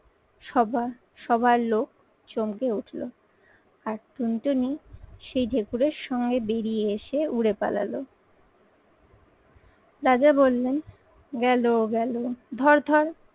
সভার, সভার লোক চমকে উঠলো। আর টুনটুনি সেই ঢেকুরের সঙ্গে বেড়িয়ে এসে উড়ে পালালো। রাজা বললেন গেলো, গেলো ধর, ধর।